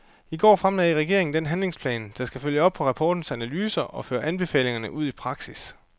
I går fremlagde regeringen den handlingsplan, der skal følge op på rapportens analyser og føre anbefalingerne ud i praksis.